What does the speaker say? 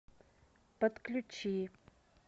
подключи